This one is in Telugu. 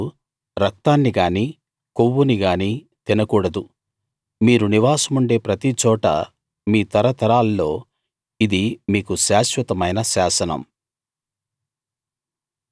మీరు రక్తాన్ని గానీ కొవ్వుని గానీ తినకూడదు మీరు నివాసముండే ప్రతిచోటా మీ తరతరాల్లో ఇది మీకు శాశ్వతమైన శాసనం